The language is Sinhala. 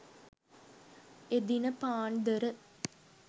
එදින පාන්දර